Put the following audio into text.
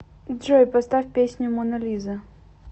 джой поставь песню мона лиза